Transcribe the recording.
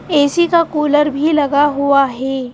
AC का cooler भी लगा हुआ है.